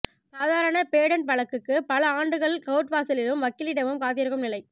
சாதாரண பேடண்ட் வழக்குக்கு பல ஆண்டுகள் கோர்ட் வாசலிலும் வக்கீலிடமும் காத்திருக்கும் நிலை